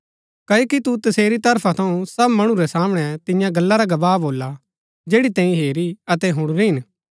क्ओकि तु तसेरी तरफा थऊँ सब मणु रै सामणै तियां गल्ला रा गवाह भोला जैड़ी तैंई हेरी अतै हुणुरी हिन